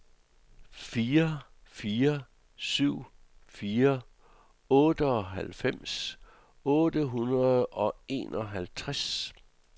fire fire syv fire otteoghalvfems otte hundrede og enoghalvtreds